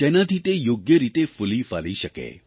જેનાથી તે યોગ્ય રીતે ફૂલીફાલી શકે